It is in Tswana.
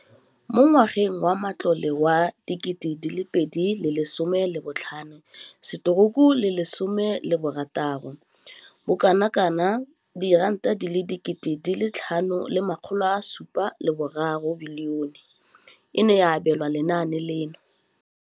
Mo ngwageng wa matlole wa 2015,16, bokanaka R5 703 bilione e ne ya abelwa lenaane leno.